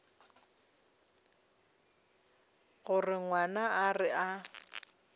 gore ngwana a re a